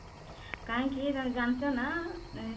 କାହିଁକି ତମେ ଜାଣିଛ ନା